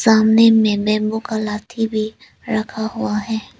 सामने में मेमो कलाती भी रखा हुआ है।